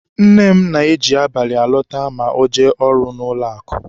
Nne m na-eji abalị alọta ma o jee ọrụ n'ụlọakụ.